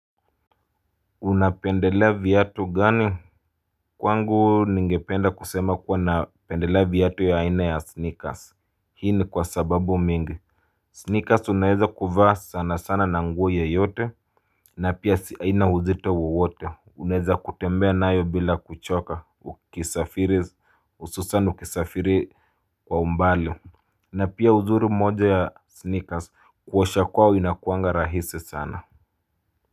Unapendelea viatu gani? Kwangu ningependa kusema kuwa napendelea viatu ya aina ya sneakers hii ni kwasababu mingi, sneakers unaweza kuvaa sana sana na nguo yoyote, na pia si haina uzito wowote unaeza kutembea nayo bila kuchoka ukisafiri hususani ukisafiri kwa umbali na pia uzuri moja ya sneakers kuosha kwao inakuanga rahisi sana.